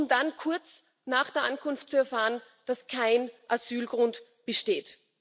Nur um dann kurz nach der Ankunft zu erfahren, dass kein Asylgrund besteht.